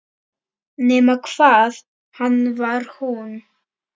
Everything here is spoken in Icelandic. Nema hvað hann var hún.